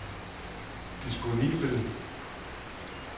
disponibel